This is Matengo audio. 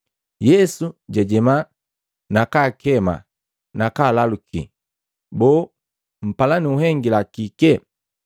Yesu jwajema, nakaakema nakaalaluki, “Boo, mpala nunhengila kike?”